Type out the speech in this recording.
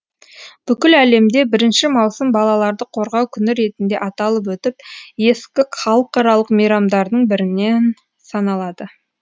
бүкіл әлемде бірінші маусым балаларды қорғау күні ретінде аталып өтіп ескі халықаралық мейрамдардың бірінен саналады